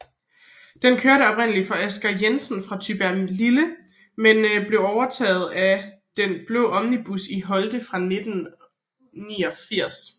Den kørte oprindeligt for Asger Jensen fra Tybjerglille men blev overtaget af De Blaa Omnibusser i Holte 1989